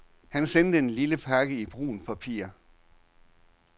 Han sendte en lille pakke i brunt papir.